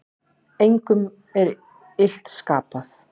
Engum er illt skapað.